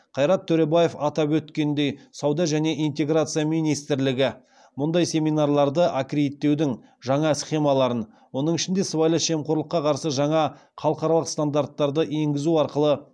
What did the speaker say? қайрат төребаев атап өткендей сауда және интеграция министрлігі мұндай семинарларды аккредиттеудің жаңа схемаларын оның ішінде сыбайлас жемқорлыққа қарсы жаңа халықаралық стандарттарды енгізу арқылы